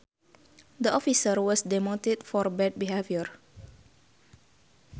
The officer was demoted for bad behavior